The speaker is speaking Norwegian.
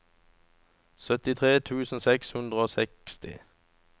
syttitre tusen seks hundre og seksti